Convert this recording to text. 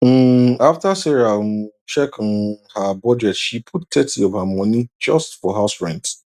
um after sarah um check um her budget she put thirty of her money just for house rent